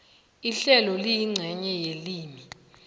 ihlelo liyincenye yelimi